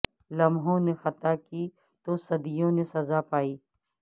لمحوں نے خطا کی تو صدیوں نے سز ا پائی